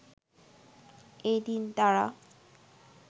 এই দিন তারা